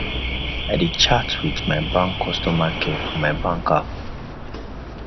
i dey chat wit my bank customer care for my bank app